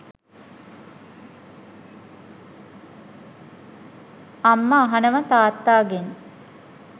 අම්ම අහනව තාත්තාගෙන් .